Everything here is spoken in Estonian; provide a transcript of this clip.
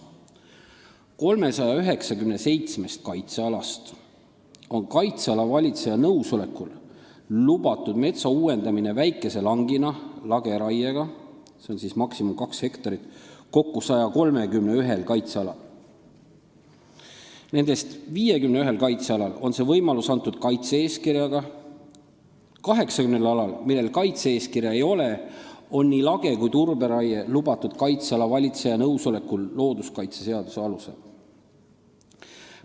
" 397 kaitsealast on metsa uuendamine väikese langina lageraiega kaitseala valitseja nõusolekul lubatud kokku 131 kaitsealal, nendest 51 kaitsealal on see võimalus antud kaitse-eeskirjaga, 80 alal, millel kaitse-eeskirja ei ole, on nii lage- kui ka turberaie lubatud kaitseala valitseja nõusolekul looduskaitseseaduse alusel.